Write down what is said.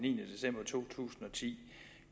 niende december to tusind og ti